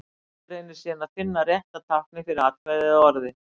Forritið reynir síðan að finna rétta táknið fyrir atkvæðið eða orðið.